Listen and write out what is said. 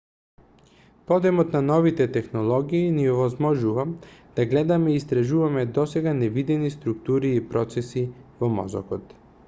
подемот на новите технологии ни овозможува да гледаме и истражуваме досега невидени структури и процеси во мозокот